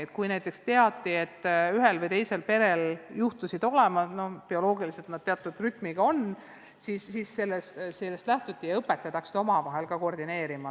Ja kui näiteks teati, et ühel või teisel perel on teatud rütm, siis sellest lähtuti ja õpetajad hakkasid ka omavahel koordineerima.